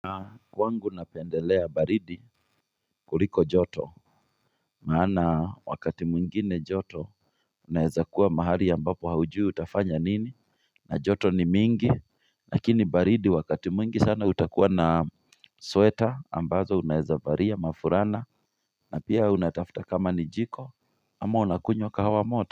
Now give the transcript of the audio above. Na wangu napendelea baridi kuliko joto maana wakati mwingine joto Unaeza kuwa mahali ambapo haujui utafanya nini na joto ni mingi Lakini baridi wakati mwingi sana utakuwa na Sweater ambazo unaeza varia mafurana na pia unatafta kama ni jiko ama unakunywa kahawa moto.